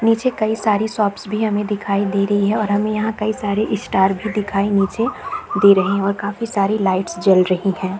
नीचे कई सारे शॉप्स भी हमें दिखाई दे रही है और हमें यहाँ कई सारे स्टार् भी दिखाई नीचे दे रहे है और काफी सारी लाइट्स जल रही है।